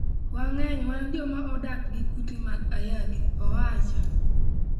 Wang'eny wan joma odak gi kute mag ayaki," owacho.